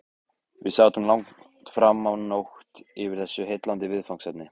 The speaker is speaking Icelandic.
Við sátum langt framá nótt yfir þessu heillandi viðfangsefni.